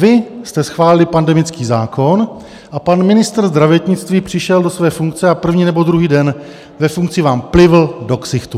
Vy jste schválili pandemický zákon a pan ministr zdravotnictví přišel do své funkce a první nebo druhý den ve funkci vám plivl do ksichtu.